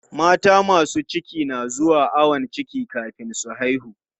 Mata masu ciki na zuwa ayon ciki kafin su haihu.